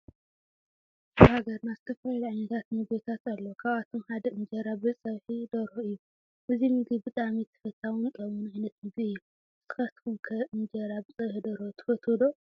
አብ ሃገርና ዝተፈላለዩ ዓይነታት ምግብታት አለው ካብአቶም ሓደ እንጅራ ብፀብሒ ደርሆ እዩ ።እዚ ምግቢ ብጣዕሚ ተፈታውን ጥዕሙን ዓይነት ምግቢ እዩ ።ንስካትኩም ከ እንጅራ ብፀብሒ ደርሆ ትፈትዉ ዶ?